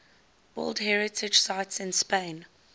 world heritage sites in spain